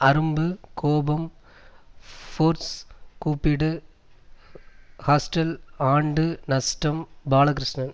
அரும்பு கோபம் ஃபோர்ஸ் கூப்பிடு ஹாஸ்டல் ஆண்டு நஷ்டம் பாலகிருஷ்ணன்